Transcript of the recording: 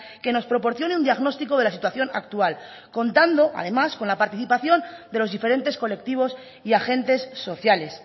que nos proporcione un diagnóstico de la situación actual contando además con la participación de los diferentes colectivos y agentes sociales